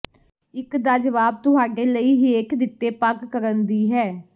ਇੱਕ ਦਾ ਜਵਾਬ ਤੁਹਾਡੇ ਲਈ ਹੇਠ ਦਿੱਤੇ ਪਗ਼ ਕਰਨ ਦੀ ਹੈ